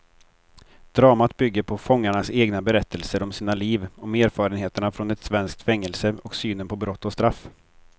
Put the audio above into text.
Dramat bygger på fångarnas egna berättelser om sina liv, om erfarenheterna från ett svenskt fängelse och synen på brott och straff.